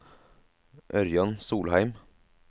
Ørjan Solheim